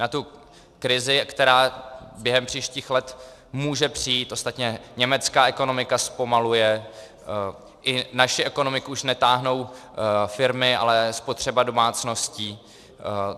Na tu krizi, která během příštích let může přijít - ostatně německá ekonomika zpomaluje, i naši ekonomiku už netáhnou firmy, ale spotřeba domácností.